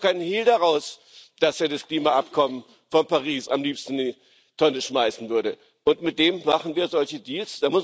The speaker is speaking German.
Er macht doch keinen Hehl daraus, dass er das Klimaabkommen von Paris am liebsten in die Tonne schmeißen würde, und mit dem machen wir solche Deals?